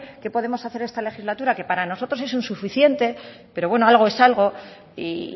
que podemos hacer esta legislatura que para nosotros es un suficiente pero algo es algo y